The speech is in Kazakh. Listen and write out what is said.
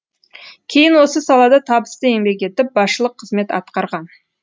кейін осы салада табысты еңбек етіп басшылық қызмет атқарған